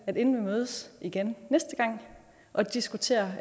inden vi mødes igen næste gang og diskuterer